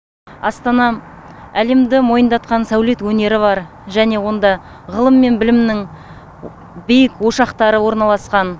астана әлемді мойындатқан сәулет өнері бар және онда ғылым мен білімнің биік ошақтары орналасқан